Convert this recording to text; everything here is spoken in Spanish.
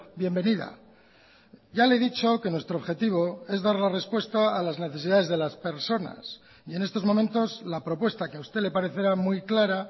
bienvenida ya le he dicho que nuestro objetivo es dar la respuesta a las necesidades de las personas y en estos momentos la propuesta que a usted le parecerá muy clara